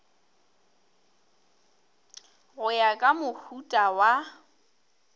go ya ka mohuta wa